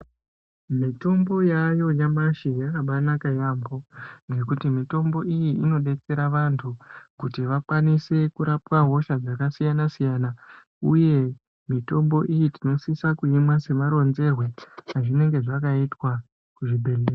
Mitombo yaayo nyamashi yakabanaka yambo ngekuti mitombo iyi inodetsera vantu kuti vakwanise kurapwa hosha dzakasiyana siyana uye mitombo iyi tinosise kuimwa semaronzerwe azvinenge zvakaitwa kuzvibhedhleya.